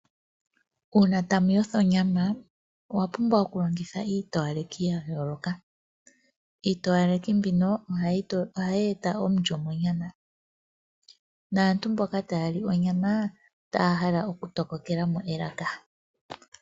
Uuna toyotha onyama owapumbwa okulongitha iitowalekithi yayoloka, iitowalekithi mbino oha yeeta omulyo monyama naantu ngele taali onyama otaahala okundofokelamo elaka.